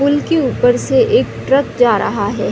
पुल के ऊपर से एक ट्रक जा रहा है।